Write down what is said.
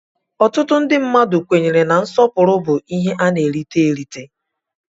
Ọtụtụ ndị mmadụ kwenyere na nsọpụrụ bụ ihe a na-erita erita.